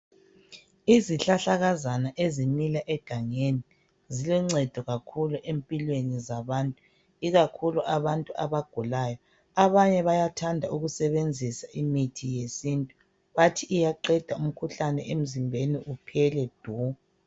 Izihlahlakazana ezimila egangeni ziloncedo kakhulu empilweni zabantu ikakhulu abantu abagulayo. Abanye bayathanda ukusebenzisa imithi yesintu bathi iyaqeda umkhuhlane emzimbeni uphele du.